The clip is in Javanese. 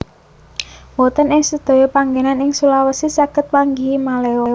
Mboten ing sedaya panggénan ing Sulawesi saged manggihi maleo